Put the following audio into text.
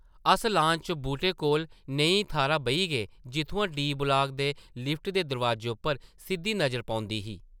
अस लॉन च बूह्टे कोल नेही थाह्रा बेही गे जित्थुआं डी. ब्लाक दे लिफ्ट दे दरोआजे उप्पर सिद्धी नज़र पौंदी ही ।